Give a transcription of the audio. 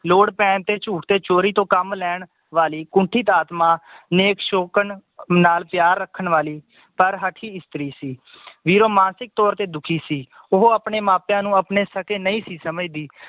ਲੋੜ ਪੈਣ ਤੇ ਝੂਠ ਤੇ ਚੋਰੀ ਤੋਂ ਕੰਮ ਲੈਣ ਵਾਲੀ ਕੁੰਠਿਤ ਆਤਮਾ ਨੇਕ ਸ਼ੋਕਨ ਨਾਲ ਪਿਆਰ ਰੱਖਣ ਵਾਲੀ ਪਰ ਹਠੀ ਇਸਤਰੀ ਸੀ ਵੀਰੋ ਮਾਨਸਿਕ ਤੌਰ ਤੇ ਦੁਖੀ ਸੀ ਉਹ ਆਪਣੇ ਮਾਪਿਆਂ ਨੂੰ ਆਪਣੇ ਸਕੇ ਨਈ ਸੀ ਸਮਝਦੀ